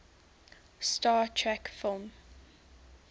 star trek film